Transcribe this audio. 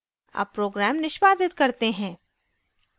अब program निष्पादित करते हैं